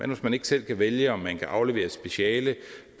man ikke selv kan vælge om man kan aflevere et speciale